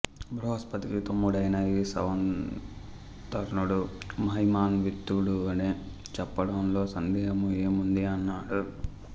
బృహస్పతికి తమ్ముడైన ఈ సంవర్తనుడు మహిమాత్వితుడని చెప్పడంలో సందేహము ఏముంది అన్నడు